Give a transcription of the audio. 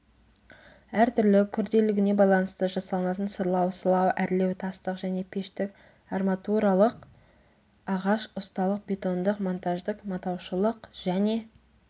әртүрлі күрделілігіне байланысты жасалынатын сырлау сылау әрлеу тастық және пештік арматуралық ағаш ұсталық бетондық монтаждық матаушылық және